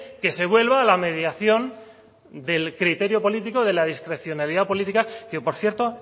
que se vuelva a la mediación del criterio político de la discrecionalidad política que por cierto